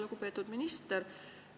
Lugupeetud minister!